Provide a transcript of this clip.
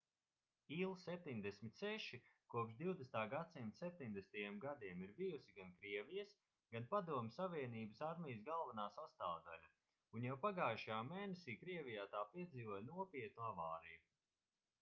il-76 kopš 20. gadsimta 70. gadiem ir bijusi gan krievijas gan padomju savienības armijas galvenā sastāvdaļa un jau pagājušajā mēnesī krievijā tā piedzīvoja nopietnu avāriju